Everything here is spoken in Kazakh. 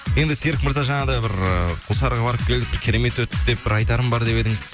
енді серік мырза жаңа да бір құлсарыға барып келдік керемет өтті деп бір айтарым бар деп едіңіз